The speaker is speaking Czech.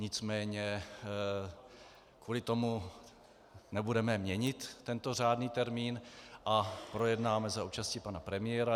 Nicméně kvůli tomu nebudeme měnit tento řádný termín a projednáme za účasti pana premiéra.